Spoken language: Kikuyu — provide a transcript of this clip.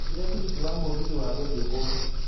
njigĩra tigiti wa mũgithi wa gũthiĩ kuo